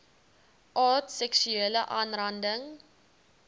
aard seksuele aanranding